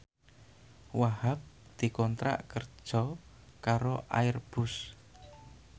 Wahhab dikontrak kerja karo Airbus